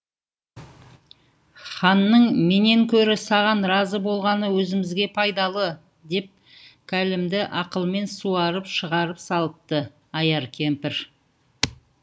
ханның менен көрі саған разы болғаны өзімізге пайдалы деп кәлемді ақылымен суарып шығарып салыпты аяр кемпір